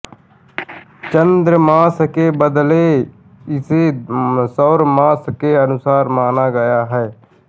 चांद्रमास के बदले इसे सौरमास के अनुसार माना गया है